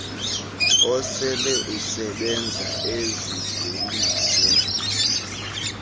osele usebenza ezidweliswe